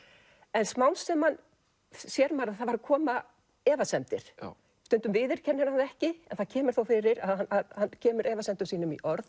en smám saman sér maður að það koma efasemdir stundum viðurkennir hann það ekki en það kemur þó fyrir að hann kemur efasemdum sínum í orð